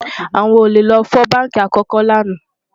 àwọn ólè ló fọ bánkì àkókò lànà